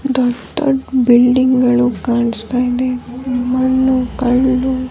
ದೊಡ್ಡ್ ದೊಡ್ಡ್ ಬಿಲ್ಡಿಂಗ್ ಗಳು ಕಾಣಿಸ್ತಾ ಇದೆ ಮಣ್ಣು ಕಲ್ಲು --